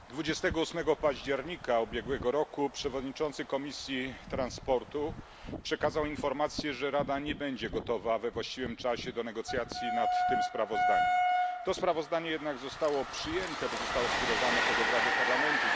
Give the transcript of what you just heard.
Panie Przewodniczący! 28 października ubiegłego roku przewodniczący Komisji Transportu przekazał informację, że Rada nie będzie gotowa we właściwym czasie do negocjacji nad tym sprawozdaniem. To sprawozdanie jednak zostało przyjęte, bo zostało skierowane pod obrady Parlamentu.